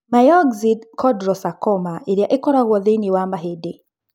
Myxoid chondrosarcoma ĩrĩa ĩkoragũo thĩinĩ wa mahĩndĩ.